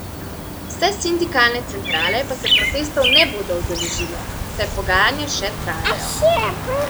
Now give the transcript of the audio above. Vse sindikalne centrale pa se protestov ne bodo udeležile, saj pogajanja še trajajo.